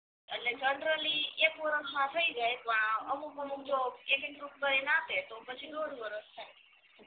એટલે જનરલી એક વરાહ માં થઈ જાય પ અમુક અમુક જો એક એક ગ્રુપ કરે ન આપે તો પછી દોઢ વરાહ થાય